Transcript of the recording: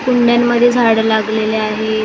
कुंड्यांमध्ये झाडं लागलेले आहेत घरा --